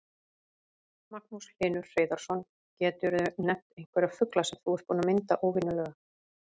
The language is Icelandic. Magnús Hlynur Hreiðarsson: Geturðu nefnt einhverja fugla sem þú ert búinn að mynda óvenjulega?